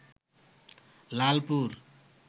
Lalpur